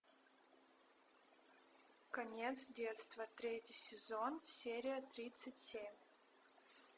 конец детства третий сезон серия тридцать семь